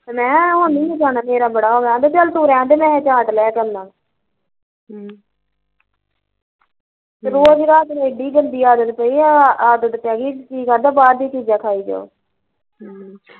ਮੈਂ ਕਿਹਾਂ ਹੁਣ ਨੀ ਮੈਂ ਜਾਣਾ ਮੇਰਾ ਬੜਾ ਹੋਗਈਆ ਈ ਕਹਿੰਦਾ ਚੱਲ ਤੂੰ ਰਹਣਦੇ ਮੈਂ ਚਾਟ ਲੈ ਕੇ ਆਉਂਦਾ ਵਾਂ ਹਮ ਓਹੀ ਰਾਤ ਏਡੀ ਜਲਦੀ ਆਹ ਆਦਤ ਪੈਗੀ ਤੇ ਅਵੇ ਬਾਹਰ ਦੀਆ ਚੀਜ਼ਾਂ ਖਾਈ ਜਾਓ ਹਮ